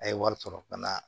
A' ye wari sɔrɔ ka na